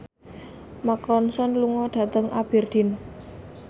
Mark Ronson lunga dhateng Aberdeen